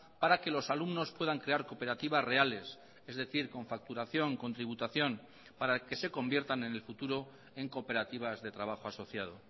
para que los alumnos puedan crear cooperativas reales es decir con facturación con tributación para que se conviertan en el futuro en cooperativas de trabajo asociado